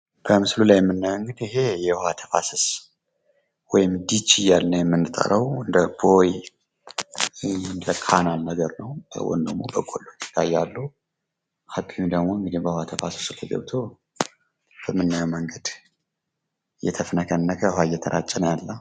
በምስሉ ላይ የምናየው እንግዲህ የውሃ ተፋሰስ ወይም ዲጂ እያልን የምንጠራው እንደ ቦይ፣ እንደ ካናል ነገር ነው። አቢውም ደግሞ በውሃ ተፋሰሱ ላይ ገብቶ በምናየው መንገድ እየተፍነከነከ ውሃ እየተራጨ ነው ያለ።